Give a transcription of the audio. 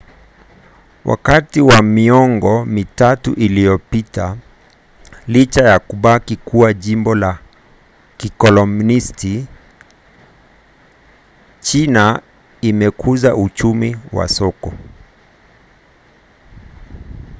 wakati wa miongo mitatu iliyopita licha ya kubaki kuwa jimbo la kikomunisti china imekuza uchumi wa soko